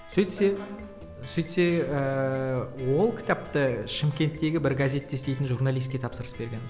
сөйтсе сөйтсе ыыы ол кітапты шымкенттегі бір газетте істейтін журналистке тапсырыс берген